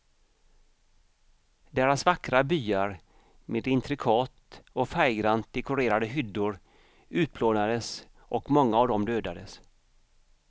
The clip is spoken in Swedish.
Deras vackra byar med intrikat och färggrant dekorerade hyddor utplånades och många av dem dödades.